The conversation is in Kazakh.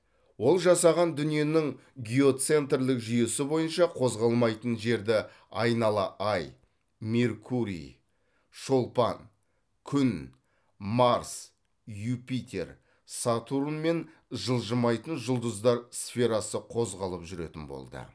ол жасаған дүниенің геоцентрлік жүйесі бойынша қозғалмайтын жерді айнала ай меркурий шолпан күн марс юпитер сатурн мен жылжымайтын жұлдыздар сферасы қозғалып жүретін болды